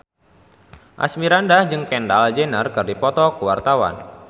Asmirandah jeung Kendall Jenner keur dipoto ku wartawan